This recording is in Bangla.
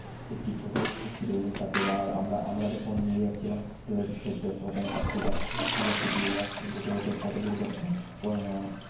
এটি ছোট শিশু ছিল তাকে আমরা যখন নিয়ে জাছিলাম হাস্পতাল এর ক্ষেত্রে তখন্ম একটি বাচ্চা শিশু বাচ্চা টি রাস্তাই জেতে জেতে খত দুর্ঘট